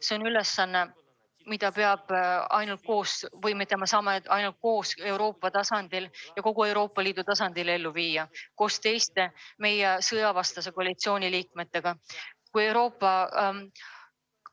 See on ülesanne, mida me saame ainult koos Euroopa Liidu ja teiste meie sõjavastase koalitsiooni liikmetega kogu Euroopa tasandil ellu viia.